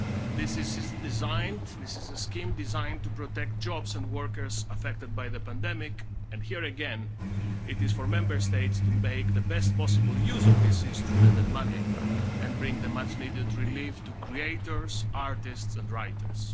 This is a scheme designed to protect jobs and workers affected by the pandemic and, here again, it is for Member States to make the best possible use of this instrument and money and bring the much needed relief to creators, artists and writers.